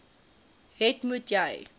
het moet jy